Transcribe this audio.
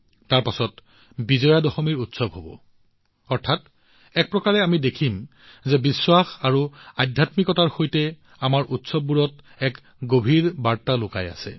তাৰ পিছত বিজয় দশমী উৎসৱ হব অৰ্থাৎ এক প্ৰকাৰে আমি দেখো যে বিশ্বাস আৰু আধ্যাত্মিকতাৰ সৈতে আমাৰ উৎসৱবোৰত এক গভীৰ বাৰ্তা লুকাই আছে